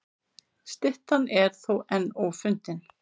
Styttan er þó enn ófundin.